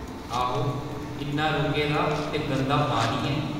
आहो, इन्ना रुके दा ते गंदा पानी ऐ।